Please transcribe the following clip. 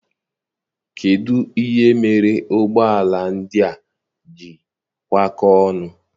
Kedụ ihe mere ụgbọala ndị a ji kwa kọọ ọnụ?